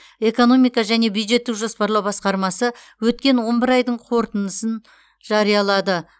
экономика және бюджеттік жоспарлау басқармасы өткен он бір айдың қорытындысын жариялады